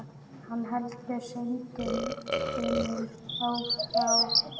Hann heldur synd unum frá.